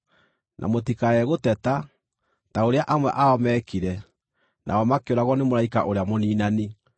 Na mũtikae gũteta, ta ũrĩa amwe ao meekire, nao makĩũragwo nĩ mũraika ũrĩa mũniinani.